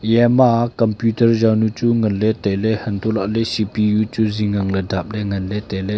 yama computer yawnu chu nganley tailey hantoh lahley C_P_U chu zing angley dapley tailey.